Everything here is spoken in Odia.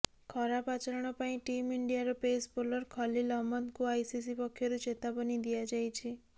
ଖରାପ ଆଚରଣ ପାଇଁ ଟିମ୍ ଇଣ୍ଡିଆର ପେସ୍ ବୋଲର୍ ଖଲୀଲ ଅହମ୍ମଦଙ୍କୁ ଆଇସିସି ପକ୍ଷରୁ ଚେତାବନୀ ଦିଆଯାଇଛି